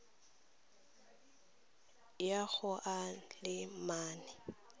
ya go a le mane